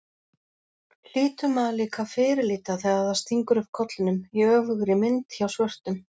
hlýtur maður líka að fyrirlíta þegar það stingur upp kollinum, í öfugri mynd, hjá svörtum.